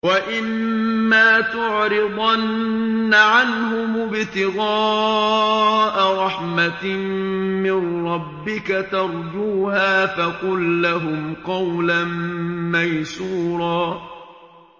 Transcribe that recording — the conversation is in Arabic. وَإِمَّا تُعْرِضَنَّ عَنْهُمُ ابْتِغَاءَ رَحْمَةٍ مِّن رَّبِّكَ تَرْجُوهَا فَقُل لَّهُمْ قَوْلًا مَّيْسُورًا